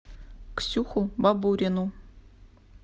ксюху бабурину